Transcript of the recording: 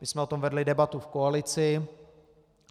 My jsme o tom vedli debatu v koalici.